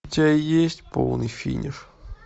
у тебя есть полный финиш